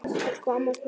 Elsku amma Steina.